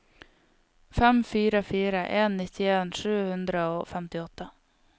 fem fire fire en nittien sju hundre og femtiåtte